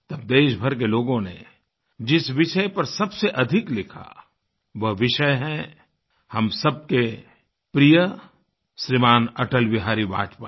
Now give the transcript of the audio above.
तब देशभर के लोगों ने जिस विषय पर सबसे अधिक लिखा वह विषय है हम सब के प्रिय श्रीमान् अटल बिहारी वाजपेयी